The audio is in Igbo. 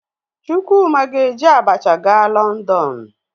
Chukwuma ga-eji abacha gaa Lọndọn.